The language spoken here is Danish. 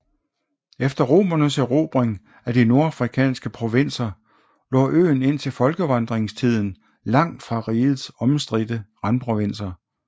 Efter romernes erobring af de nordafrikanske provenser lå øen indtil folkevandringstiden langt fra rigets omstridte randprovinser